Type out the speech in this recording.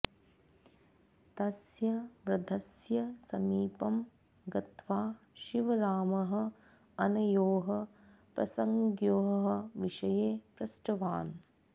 तस्य वृद्धस्य समीपं गत्वा शिवरामः अनयोः प्रसङ्गयोः विषये पृष्टवान्